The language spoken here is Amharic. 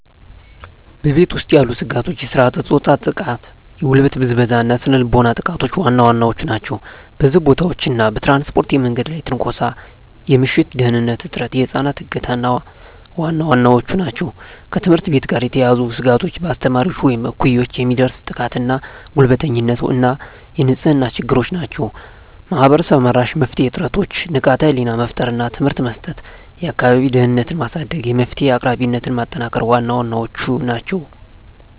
በቤት ውስጥ ያሉ ስጋቶች የሥርዓተ-ፆታ ጥቃ፣ የጉልበት ብዝበዛ እና ስነ ልቦናዊ ጥቃቶች ዋና ዋናዎቹ ናቸው። በሕዝብ ቦታዎች እና በትራንስፖርት የመንገድ ላይ ትንኮሳ፣ የምሽት ደህንንነት እጥረት፣ የህፃናት እገታ ዋና ዋናዎቹ ናቸው። ከትምህርት ቤት ጋር የተያያዙ ስጋቶች በአስተማሪዎች ወይም እኩዮች የሚደርስ ጥቃትና ጉልበተኝነት እና የንጽህና ችግሮች ናቸው። ማህበረሰብ-መራሽ የመፍትሄ ጥረቶች ንቃተ ህሊና መፍጠር እና ትምህርት መስጠት፣ የአካባቢ ደህንነትን ማሳደግ፣ የመፍትሄ አቅራቢነትን ማጠናከር ዋና ዋናዎቹ ናቸው።